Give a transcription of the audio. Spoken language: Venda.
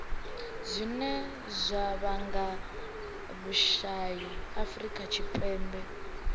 zwine zwa vhanga vhusai afurika tshipembe